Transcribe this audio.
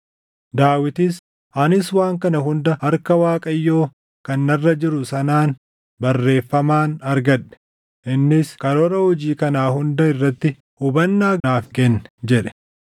Daawitis, “Ani waan kana hunda harka Waaqayyoo kan narra jiru sanaan barreeffamaan argadhe; innis karoora hojii kanaa hunda irratti hubannaa naaf kenne” jedhe.